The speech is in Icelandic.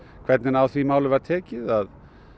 hvernig á því máli var tekið að